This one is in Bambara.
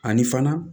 Ani fana